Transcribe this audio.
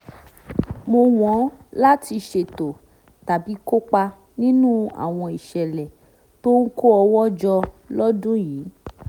mọ́ wọn láti ṣètò tàbí kópa nínú àwọn ìṣẹ̀lẹ̀ tó ń kó owó jọ lọ́dún yìí